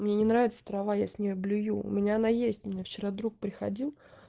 мне не нравится трава я с ней блюю у меня она есть у меня вчера друг приходил